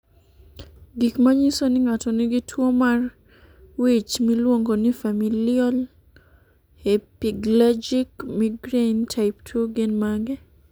Gik manyiso ni ng'ato nigi tuwo mar wich miluongo ni familial hemiplegic migraine type 2 gin mage?